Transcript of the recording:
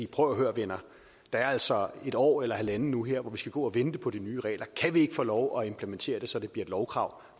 prøv at høre venner der er altså et år eller halvandet hvor vi skal gå og vente på de nye regler kan vi ikke få lov at implementere det så det bliver et lovkrav